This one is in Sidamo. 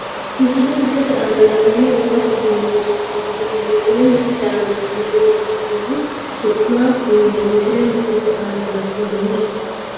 Misile mittete aana la’inanni wogate uduunni su’ma kulle Misile mittete aana la’inanni wogate uduunni su’ma kulle Misile mittete aana la’inanni.